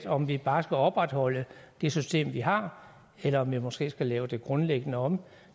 om vi bare skal opretholde det system vi har eller om vi måske skal lave det grundlæggende om